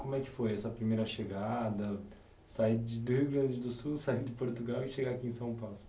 Como é que foi essa primeira chegada, sair do Rio Grande do Sul, sair de Portugal e chegar aqui em São Paulo?